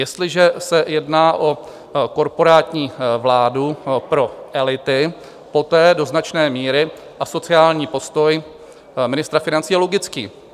Jestliže se jedná o korporátní vládu pro elity, poté do značné míry asociální postoj ministra financí je logický.